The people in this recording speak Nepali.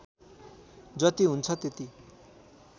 जति हुन्छ त्यति